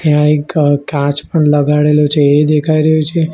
ત્યાં એક કાચ પણ લગાડેલું છે એ દેખાઈ રહ્યુ છે.